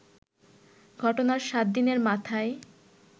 ঘটনার সাত দিনের মাথায়